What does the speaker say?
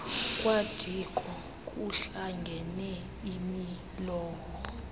kwadiko kuhlangene imilowo